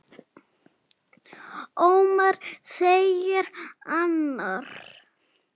Ómar, segir annar.